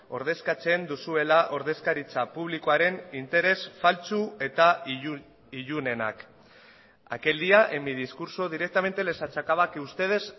ordezkatzen duzuela ordezkaritza publikoaren interes faltsu eta ilunenak aquel día en mi discurso directamente les achacaba que ustedes